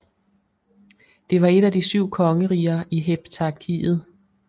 Det var et af de syv kongeriger i Heptarkiet